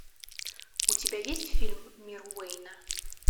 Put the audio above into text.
у тебя есть фильм мир уэйна